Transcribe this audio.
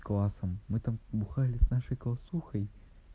классом вы там бухали с нашей классухой